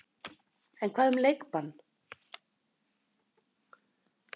En hvað um leikbann?